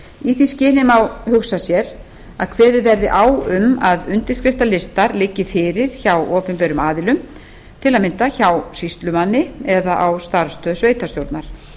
í því skyni má hugsa sér að kveðið verði á um að undirskriftalistar liggi fyrir hjá opinberum aðilum til að mynda hjá sýslumanni eða á starfsstöð sveitarstjórnar